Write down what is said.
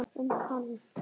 um hann.